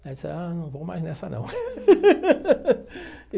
Ele disse, ah, não vou mais nessa, não.